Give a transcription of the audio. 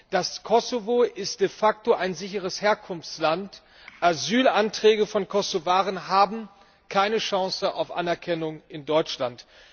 Das Kosovo ist de facto ein sicheres Herkunftsland, Asylanträge von Kosovaren haben keine Chance auf Anerkennung in Deutschland.